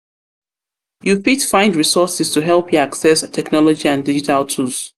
fit find resources to help you access technology and digital tools.